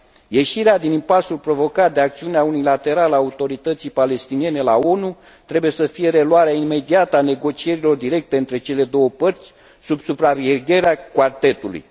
Ieșirea din impasul provocat de acțiunea unilaterală a Autorității Palestiniene la ONU trebuie să fie reluarea imediată a negocierilor directe între cele două părți sub supravegherea Quartetului.